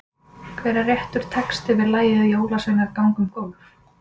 Hver er réttur texti við lagið Jólasveinar ganga um gólf?